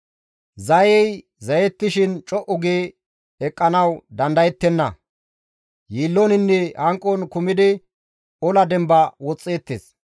Zayey zayetishin co7u gi eqqanawu dandayettenna; yiilloninne hanqon kumidi ola demba woxxeettes.